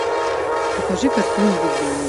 покажи картину видение